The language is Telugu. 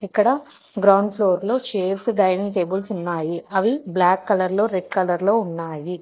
ఇక్కడ గ్రౌండ్ ఫ్లోర్లో చైర్స్ డైనింగ్ టేబుల్స్ ఉన్నాయి. అవి బ్లాక్ కలర్లో రెడ్ కలర్లో ఉన్నాయి.